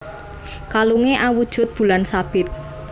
Kalunge awujud bulan sabit